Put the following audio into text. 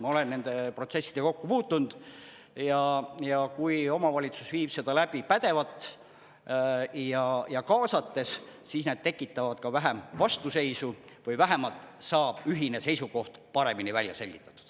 Ma olen nende protsessidega kokku puutunud, ja kui omavalitsus viib seda läbi pädevalt ja kaasates, siis need tekitavad ka vähem vastuseisu või vähemalt saab ühine seisukoht paremini välja selgitatud.